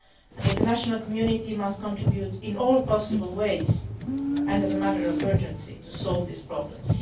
us. The international community must contribute in all possible ways and as a matter of urgency to solve these problems.